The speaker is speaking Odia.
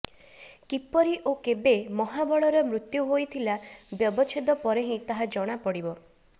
କିପରି ଓ କେବେ ମହାବଳର ମୃତ୍ୟୁ ହୋଇଥିଲା ବ୍ୟବଚ୍ଛେଦ ପରେ ହିଁ ତାହା ଜଣାପଡ଼ିବ